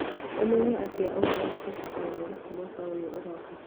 ũmenye atĩa ũhoro wa gũcinda Nairobi mwaka ũyũ ũroka?